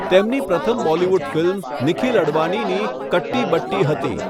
તેમની પ્રથમ બોલિવૂડ ફિલ્મ નિખિલ અડવાણીની 'કટ્ટી બટ્ટી' હતી.